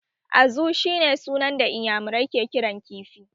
Azu shi ne sunan da iyamurai ke kiran kifi